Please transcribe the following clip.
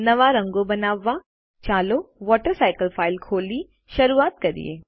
નવા રંગો બનાવવા ચાલો વોટરસાયકલ ફાઇલ ખોલી શરૂઆત કરીએ